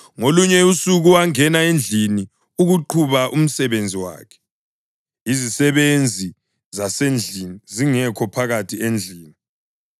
Ngolunye usuku wangena endlini ukuqhuba umsebenzi wakhe, izisebenzi zasendlini zingekho phakathi endlini.